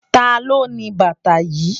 Táló ni bàtá yi?